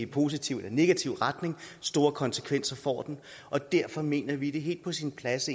positiv eller negativt men store konsekvenser får den og derfor mener vi er helt på sin plads